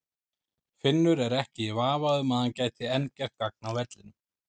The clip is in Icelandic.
Finnur er ekki í vafa um að hann gæti enn gert gagn á vellinum.